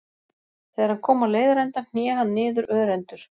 Þegar hann kom á leiðarenda hné hann niður örendur.